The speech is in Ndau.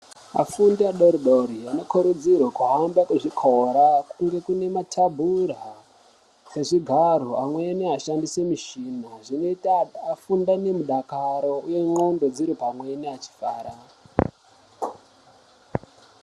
Afundi adori dori ano kurudzirwe kuhamba ku zvikora kunge kune matabhura se zvigaro amweni ashandise mishina zvinoita afunde ne mudakaro uye ndxondo dziri pamweni achifara.